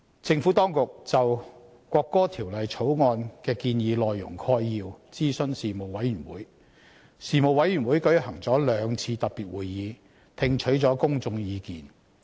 政府當局就《國歌條例草案》的建議內容概要諮詢事務委員會，事務委員會舉行了兩次特別會議，聽取公眾意見。